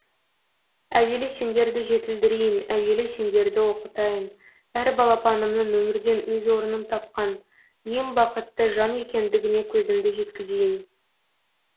әуелі сендерді жетілдірейін әуелі сендерді оқытайын әр балапанымның өмірден өз орнын тапқан ең бақытты жан екендігіне көзімді жеткізейін